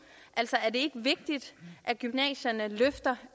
altså er det ikke vigtigt at gymnasierne løfter